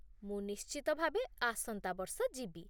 ମୁଁ ନିଶ୍ଚିତ ଭାବେ ଆସନ୍ତା ବର୍ଷ ଯିବି